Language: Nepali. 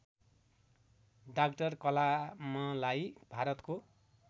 डाक्टर कलामलाई भारतको